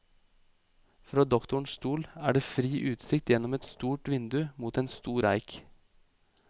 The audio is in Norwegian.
Fra doktorens stol er det fri utsikt gjennom et stort vindu mot en stor eik.